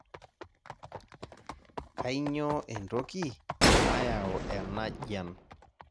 kainyioo entoki nayau enajian?